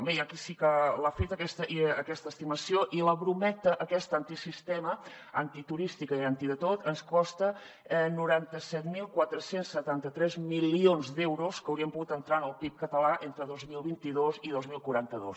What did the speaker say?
bé hi ha qui sí que l’ha feta aquesta estimació i la brometa aquesta antisistema antiturística i anti de tot ens costa noranta set mil quatre cents i setanta tres milions d’euros que haurien pogut entrar en el pib català entre dos mil vint dos i dos mil quaranta dos